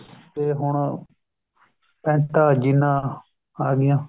ਤੇ ਹੁਣ ਪੇੰਟਾ ਜੀਨਾ ਆ ਗਈਆਂ